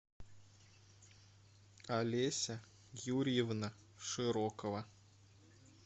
алеся юрьевна широкова